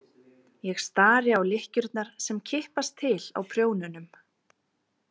Ég stari á lykkjurnar sem kippast til á prjónunum.